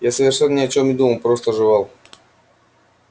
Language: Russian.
я совершенно ни о чем не думал просто жевал